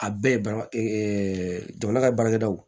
A bɛɛ ba jamana ka baarakɛdaw